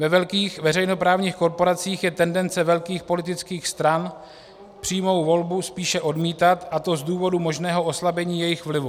Ve velkých veřejnoprávních korporacích je tendence velkých politických stran přímou volbu spíše odmítat, a to z důvodu možného oslabení jejich vlivu.